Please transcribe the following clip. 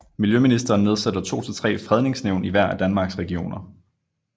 Miljøministeren nedsætter to til tre Fredningsnævn i hver af Danmarks regioner